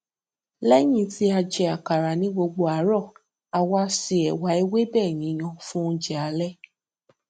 léyìn tí a jẹ àkàrà ní gbogbo àárò a wá se èwà ewébè yíyan fún oúnjẹ alé